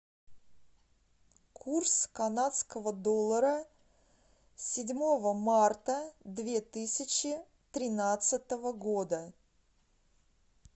курс канадского доллара седьмого марта две тысячи тринадцатого года